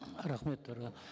рахмет дариға